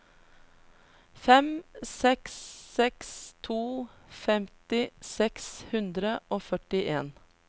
fem seks seks to femti seks hundre og førtien